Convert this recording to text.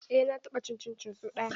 Eh na taɓa cin cincin so ɗaya.